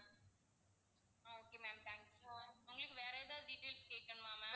okay ma'am thanks உங்களுக்கு வேற ஏதாவது details கேக்கணுமா ma'am